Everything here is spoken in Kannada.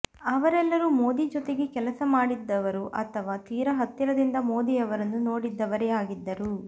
ಅವರೆಲ್ಲರೂ ಮೋದಿ ಜೊತೆಗೆ ಕೆಲಸ ಮಾಡಿದ್ದವರು ಅಥವಾ ತೀರಾ ಹತ್ತಿರದಿಂದ ಮೋದಿ ಅವರನ್ನು ನೋಡಿದ್ದವರೇ ಆಗಿದ್ದರು